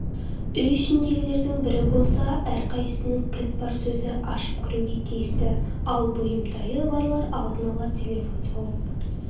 үй ішіндегілердің бірі болса әрқайсысының кілт бар өзі ашып кіруге тиісті ал бүйімтайы барлар алдын ала телефон соғып